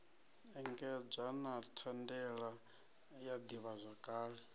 engedzwa na thandela ya ḓivhazwakale